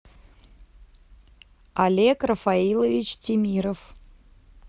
олег рафаилович тимиров